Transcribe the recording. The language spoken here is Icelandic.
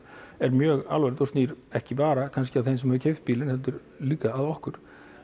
er mjög alvarlegt og snýr ekki bara að þeim sem hefur keypt bílinn heldur líka að okkur